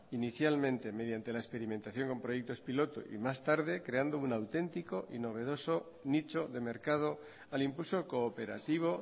inicialmente mediante la experimentación con proyectos piloto y más tarde creando un auténtico y novedoso nicho de mercado al impulso cooperativo